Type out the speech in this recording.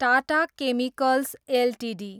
Tata Chemicals Ltd